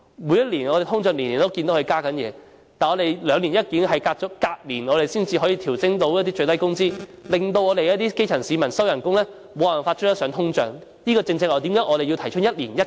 每年通脹物價都增加，但是礙於兩年一檢，隔年才可以調升最低工資，令基層市民的薪金無法追上通脹，這正是為何我們提出一年一檢。